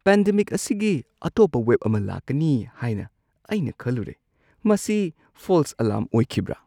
Pandemic ꯑꯁꯤꯒꯤ ꯑꯇꯣꯞꯄ wave ꯑꯃ ꯂꯥꯛꯀꯅꯤ ꯍꯥꯏꯅ ꯑꯩꯅ ꯈꯜꯂꯨꯔꯦ꯫ ꯃꯁꯤ ꯐꯣꯜꯁ ꯑꯂꯥꯔꯝ ꯑꯣꯏꯈꯤꯕ꯭ꯔ?